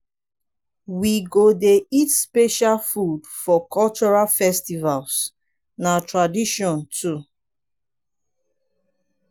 we go dey eat special food for cultural festivals na tradition too.